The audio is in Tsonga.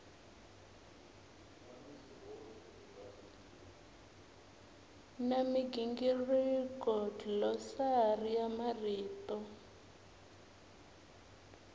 na migingiriko dlilosari ya marito